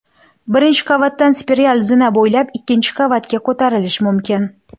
Birinchi qavatdan spiral zina bo‘ylab ikkinchi qavatga ko‘tarilish mumkin.